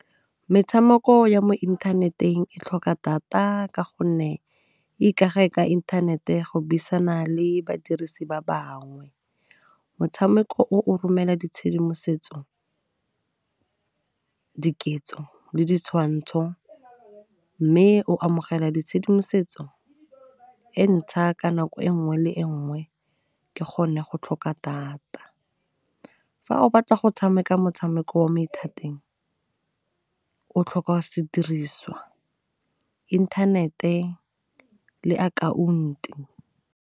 Metshameko ya mo inthaneteng e tlhoka data ka gonne ikage ka inthanete go buisana le badirisi ba bangwe. Motshameko o romela ditshedimosetso, diketso le ditshwantsho, mme o amogela ditshedimosetso e ntsha ka nako e nngwe le e nngwe ke gone go tlhoka data. Fa o batla go tshameka motshameko wa mathateng o tlhoka sediriswa, inthanete le .